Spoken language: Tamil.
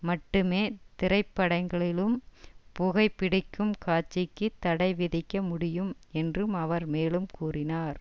மட்டுமே திரைப்படங்களிலும் புகைபிடிக்கும் காட்சிக்கு தடை விதிக்க முடியும் என்றும் அவர் மேலும் கூறினார்